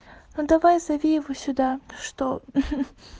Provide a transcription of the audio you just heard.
ну давай зови его сюда что ха-ха